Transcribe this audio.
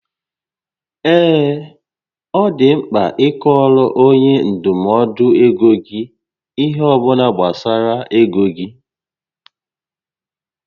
Ee, ọ dị mkpa ịkọọrọ onye ndụmọdụ ego gị ihé ọbụla gbasara égo gị